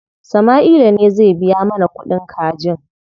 Sama'ila ne zai biya mana kuɗin kajin.